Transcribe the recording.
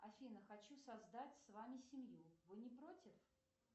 афина хочу создать с вами семью вы не против